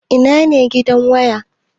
Ina ne gidan waya?